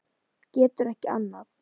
Getur ekki annað.